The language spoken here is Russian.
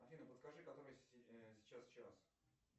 афина подскажи который сейчас час